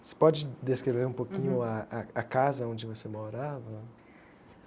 Você pode descrever um pouquinho a a a casa onde você morava?